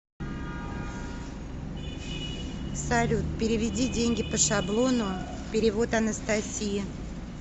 салют переведи деньги по шаблону перевод анастасии